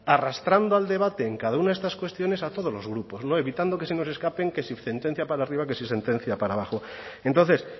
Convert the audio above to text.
arrastrando al debate en cada una de estas cuestiones a todos los grupos no evitando que se nos escapen que si sentencia para arriba que si sentencia para abajo y entonces